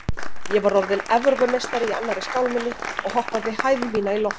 Ég var orðinn Evrópumeistari í annarri skálminni og hoppaði hæð mína í loft upp.